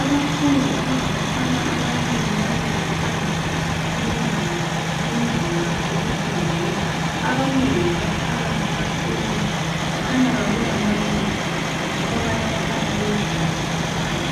Abafundi abangabafana ababili bamile phandle komyango endlini yabo yokufundela. Abanengi baphakathi bahlezi, kukhanya kakulambalisi yikho abanye abafana bezimele nje